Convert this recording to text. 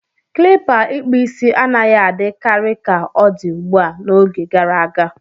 Klipa ikpu isi anaghị adị karị ka odi ugbua, n'oge gara aga.